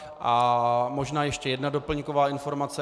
A možná ještě jedna doplňková informace.